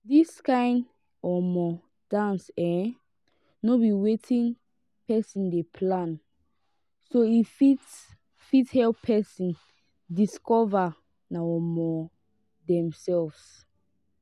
dis kind um dance um no be wetin person dey plan so e fit fit help person discover um themselves